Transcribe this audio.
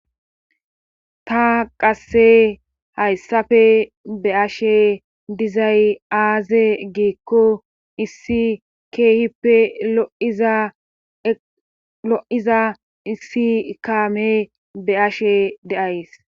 ta qasse hayssafe be ashe dizay aaze giekko issi keehippe lo7iza issi kaame be ashe deays